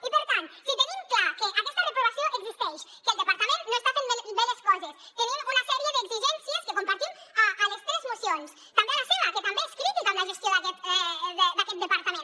i per tant si tenim clar que aquesta reprovació existeix que el departament no està fent bé les coses tenim una sèrie d’exigències que compartim a les tres mocions també a la seva que també és crítica amb la gestió d’aquest departament